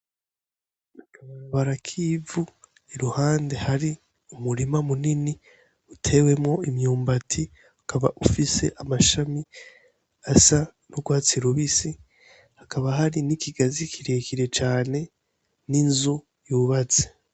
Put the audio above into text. Akabarabara k'ivu iruhande hari umurima munini utewemwo imyumbati ukaba ufise amashami asa n'urwatsi rubisi hakaba hari n'ikigazi kirekire cane n'inzu yubatse.